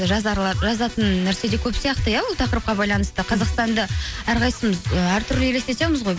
і жазатын нәрсе де көп сияқты иә ол тақырыпқа байланысты қазақстанды әрқайсысымыз і әртүрлі елестетеміз ғой